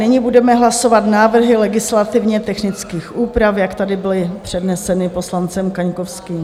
Nyní budeme hlasovat návrhy legislativně technických úprav, jak tady byly předneseny poslancem Kaňkovským.